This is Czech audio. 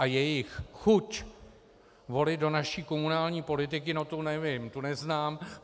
A jejich chuť volit do naší komunální politiky, no to nevím, tu neznám.